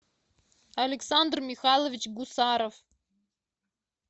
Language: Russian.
александр михайлович гусаров